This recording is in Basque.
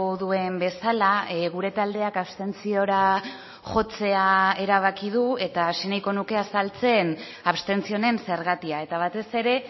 duen bezala gure taldeak abstentziora jotzea erabaki du eta hasi nahiko nuke azaltzen abstentzio honen zergatia eta batez ere